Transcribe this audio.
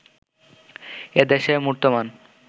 এ দেশে মূর্তমান